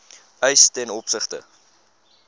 eis ten opsigte